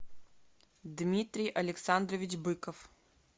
дмитрий александрович быков